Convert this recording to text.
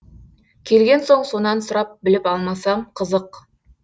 келген соң сонан сұрап біліп алмасам қызық